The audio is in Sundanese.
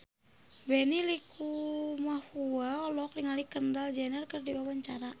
Benny Likumahua olohok ningali Kendall Jenner keur diwawancara